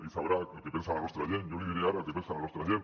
ell deu saber el que pensa la seva gent jo li diré ara el que pensa la nostra gent